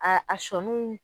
A a sɔniw